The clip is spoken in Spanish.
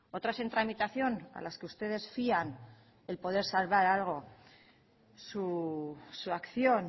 otras en tramitación a las que ustedes fían el poder salvar algo su acción